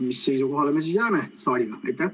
Mis seisukohale me siis jääme saalis?